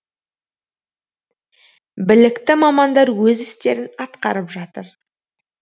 білікті мамандар өз істерін атқарып жатыр